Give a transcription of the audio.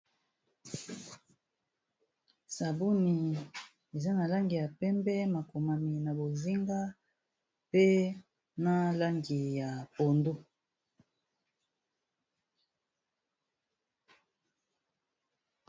Sabuni eza na langi ya pembe makomami na bozinga pe na langi ya pondu.